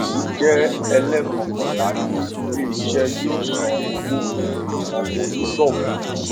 èyí jé ẹléèkọkànlá tí ilé iṣé yóò san owó fún àwọn onígbòwó